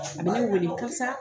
A bi n weele kasa